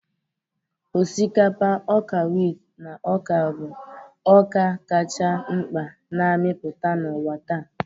Osikapa, ọka wit, na ọka bụ ọka kacha mkpa na-amịpụta n'ụwa taa.